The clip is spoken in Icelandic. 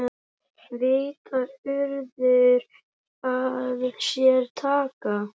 Vita urðir við sér taka.